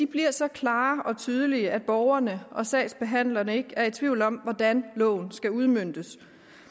bliver så klare og tydelige at borgerne og sagsbehandlerne ikke er i tvivl om hvordan loven skal udmøntes